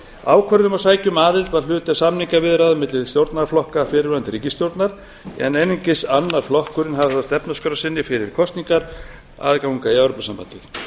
ákvörðun um að sækja um aðild var hluti af samningaviðræðum milli stjórnarflokka fyrrverandi ríkisstjórnar en einungis annar flokkurinn hafði það á stefnuskrá sinni fyrir kosningar að ganga í evrópusambandið